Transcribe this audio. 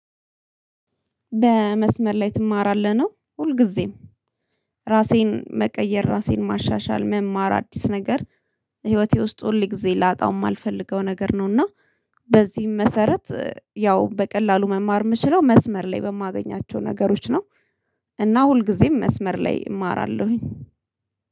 በመስመር ላይ ትማራለህ ነው። ሁልጊዜም ራሴን መቀየር ራሴን ማሻሻል መማር አዲስ ነገር ህይወቴ ውስጥ ሁልጊዜ ላጣውም እማልፈልገው ነገር ነው። እና በዚህም መሰረት ያው በቀላሉ መማር የምችለው መስመር ላይ በማገኛቸው ነገሮች ነው። እና ሁልጊዜም መስመር ላይ እማራለሁኝ